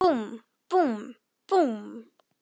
En þagði.